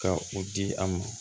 Ka u di an ma